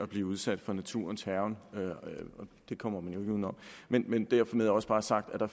bliver udsat for naturens hærgen det kommer man jo ikke uden om men men dermed også bare sagt at der